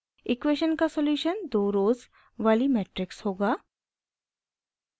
equation का solution दो rows वाली मेट्रिक्स होगा